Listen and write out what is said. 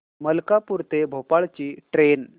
मलकापूर ते भोपाळ ची ट्रेन